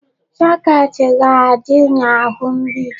Socket ga-adị n'ahụ mgbidi.